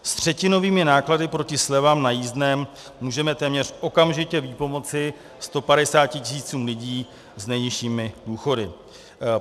S třetinovými náklady proti slevám na jízdném můžeme téměř okamžitě vypomoci 150 tisícům lidí s nejnižšími důchody.